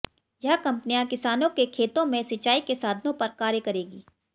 यह कंपनियां किसानों के खेतों में सिंचाई के साधनों पर कार्य करेंगी